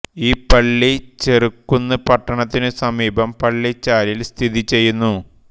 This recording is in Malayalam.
ഈ പള്ളി ചെറുകുന്ന് പട്ടണത്തിനു സമീപം പള്ളിച്ചാലിൽ സ്ഥിതി ചെയ്യുന്നു